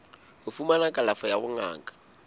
ho fumana kalafo ya bongaka